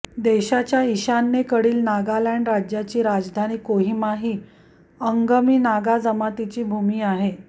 देशाच्या ईशान्येकडील नागालँड राज्याची राजधानी कोहिमा ही अंगमी नागा जमातीची भूमी आहे